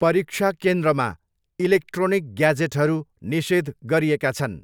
परीक्षा केन्द्रमा इलेक्ट्रोनिक ग्याजेटहरू निषेध गरिएका छन्।